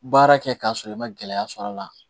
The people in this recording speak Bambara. Baara kɛ k'a sɔrɔ i ma gɛlɛya sɔr'a la